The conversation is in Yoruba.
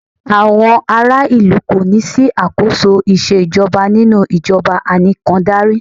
Àwọn ará ìlú kò ní sí àkóso ìṣèjọba nínú ìjọbà ànìkàndarí.